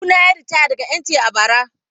Kawuna ya yi ritaya daga NTA a bara.